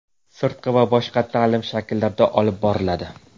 sirtqi va boshqa ta’lim shakllarida olib boriladi.